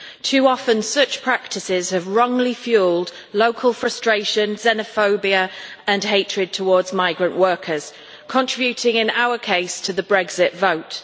Too often, such practices have wrongly fuelled local frustration, xenophobia and hatred towards migrant workers, contributing in our case to the Brexit vote.